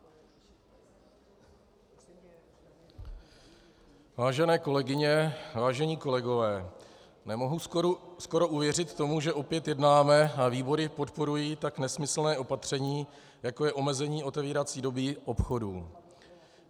Vážené kolegyně, vážení kolegové, nemohu skoro uvěřit tomu, že opět jednáme a výbory podporují tak nesmyslné opatření, jako je omezení otevírací doby obchodů.